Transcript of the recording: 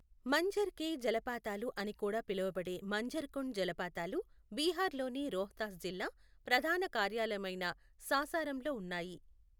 మంఝర్ కె జలపాతాలు అని కూడా పిలువబడే మంఝర్ కుండ్ జలపాతాలు బీహార్లోని రోహ్తాస్ జిల్లా ప్రధాన కార్యాలయమైన సాసారాంలో ఉన్నాయి.